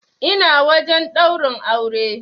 Ina wajen ɗaurin aure.